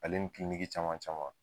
Ale ni caman caman.